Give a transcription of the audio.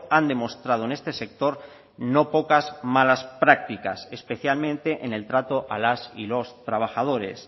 han demostrado en este sector no pocas malas prácticas especialmente en el trato a las y los trabajadores